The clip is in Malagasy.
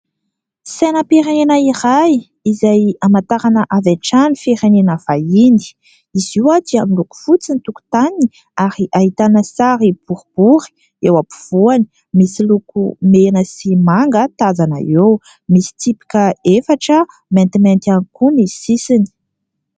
Sainam-pirenena iray izay hamantarana avy hatrany firenena vahiny. Izy io dia miloko fotsy ny tokotaniny ary ahitana sary boribory eo ampovoany, misy loko mena sy manga tazana eo, misy tsipika efatra maintimainty ihany koa ny sisiny.